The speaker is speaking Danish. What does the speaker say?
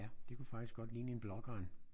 Ja det kunne faktisk godt ligne en blågran